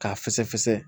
K'a fɛsɛfɛsɛ